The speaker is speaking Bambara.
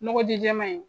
Nɔgɔ ji jɛman in